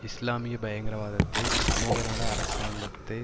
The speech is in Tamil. இஸ்லாமிய பயங்கரவாதத்தை சமூகநல அரசாங்கத்தை